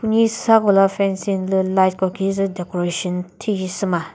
hisa kola fencing lü light ko khisü decoration thisü sü ma.